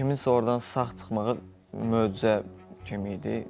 Kiminsə ordan sağ çıxmağı möcüzə kimi idi.